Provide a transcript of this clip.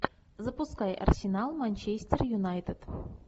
запускай арсенал манчестер юнайтед